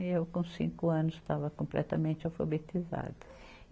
E eu, com cinco anos, estava completamente alfabetizada.